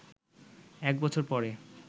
এক বছর পরে